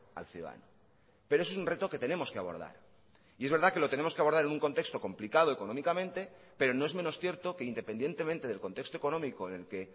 al ciudadano pero eso es un reto que tenemos que abordar y es verdad que lo tenemos que abordar en un contexto complicado económicamente pero no es menos cierto que independientemente del contexto económico en el que